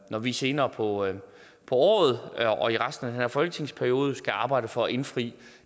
når vi senere på året året og i resten af den her folketingsperiode skal arbejde for at indfri